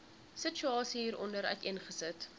situasie hieronder uiteengesit